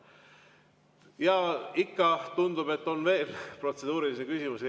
Ja ikka tundub, et on veel protseduurilisi küsimusi.